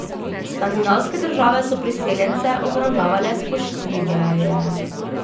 Skandinavske države so priseljence obravnavale spoštljiveje.